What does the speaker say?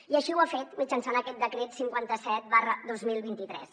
i així ho ha fet mitjançant aquest decret cinquanta set dos mil vint tres